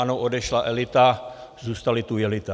Ano, odešla elita, zůstaly tu jelita.